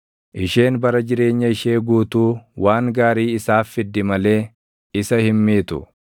Isheen bara jireenya ishee guutuu waan gaarii isaaf fiddi malee isa hin miitu.